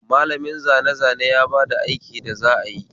malamin zane zane ya bada aiki da za ayi